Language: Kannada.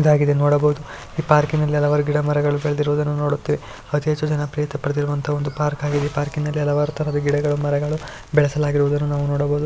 ಇದಾಗಿದೆ ನೋಡಬಹುದು ಈ ಪಾರ್ಕಿನಲ್ಲಿ ಹಲವಾರು ಗಿಡಮರಗಳು ಬೆಳೆದಿರುವುದನ್ನು ನೋಡುತ್ತೇವೆ ಅತಿಹೆಚ್ಚು ಜನಪ್ರಿಯತೆ ಪಡೆದಿರುವಂತಹ ಒಂದು ಪಾರ್ಕ್ ಆಗಿದೆ ಪಾರ್ಕಿನಲ್ಲಿ ಹಲವಾರು ತರಹದ ಗಿಡಗಳು ಮರಗಳು ಬೆಳೆಸಲಾಗಿರುವುದನ್ನು ನಾವು ನೋಡಬಹುದು.